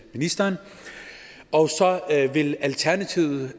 ministeren og så vil alternativet